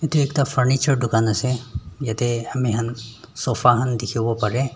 Etu ekta furniture dukan ase yatheh amikhan sofa khan dekhevo pare.